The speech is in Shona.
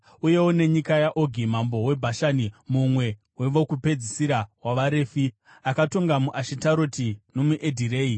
Uyewo nenyika yaOgi mambo weBhashani, mumwe wevokupedzisira wavaRefi, akatonga muAshitaroti nomuEdhirei.